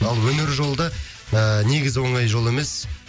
ал өнер жолы да ыыы негізі оңай жол емес